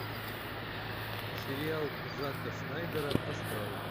сериал зака снайдера астрал